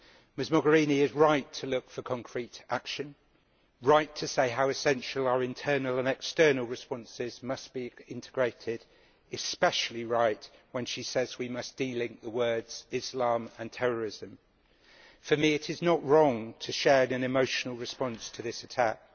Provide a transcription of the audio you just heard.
Ms Mogherini is right to look for concrete action, right to say how essential it is for our internal and external responses to be integrated, and especially right when she says we must de link the words Islam' and terrorism'. For me it is not wrong to share in an emotional response to this attack.